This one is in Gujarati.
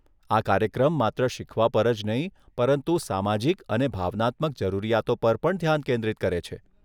આ કાર્યક્રમ માત્ર શીખવા પર જ નહીં પરંતુ સામાજિક અને ભાવનાત્મક જરૂરિયાતો પર પણ ધ્યાન કેન્દ્રિત કરે છે.